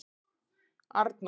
Arnór